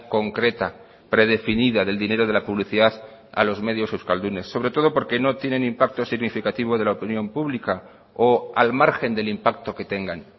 concreta predefinida del dinero de la publicidad a los medios euskaldunes sobre todo porque no tienen impacto significativo de la opinión pública o al margen del impacto que tengan